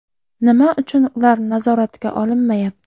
Nima uchun ular nazoratga olinmayapti?